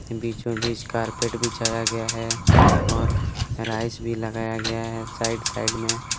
बीचों- बीच कारपेट बिछाया गया है और भी लगाया गया है साइड -साइड में --